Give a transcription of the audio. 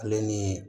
Ale ni